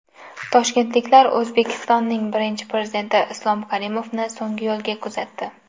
Toshkentliklar O‘zbekistonning Birinchi Prezidenti Islom Karimovni so‘nggi yo‘lga kuzatdi.